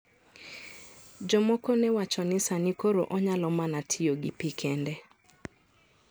Jomoko ne wacho ni sani koro onyalo mana tiyo gi pi kende.